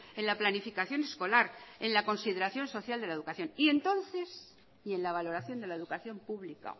en la planificación escolar en la consideración social de la educación y entonces y en la valoración de la educación pública